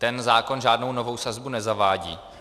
Ten zákon žádnou novou sazbu nezavádí.